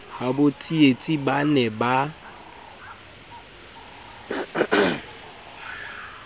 habo tsietsi ba ne ba